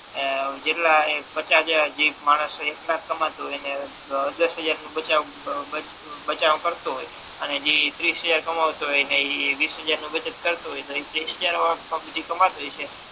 આ જેટલા એ પચાસ જેક માણસો એટલા જ કામતુ હોય અને દશ હજાર નો બચાવ કરતો હોય અને જે ત્રીસ હજાર કામતો હોય એ વિસહજાર નુ બચત કરતો હોય તો જે કામતો હશે